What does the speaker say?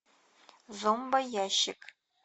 зомбоящик